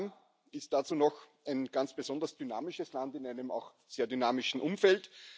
Vietnam ist dazu noch ein ganz besonders dynamisches Land in einem auch sehr dynamischen Umfeld.